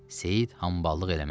Seyid hamballıq eləməz.